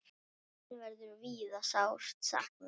Þín verður víða sárt saknað.